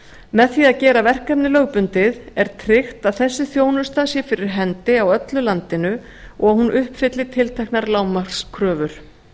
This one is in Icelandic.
með því að gera verkefnið lögbundið er tryggt að þessi þjónusta sé fyrir hendi á öllu landinu og hún uppfylli tilteknar lágmarkskröfur